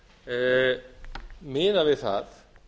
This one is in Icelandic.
vandséð miðað við það